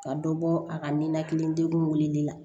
Ka dɔ bɔ a ka ninakili degun wulilenli la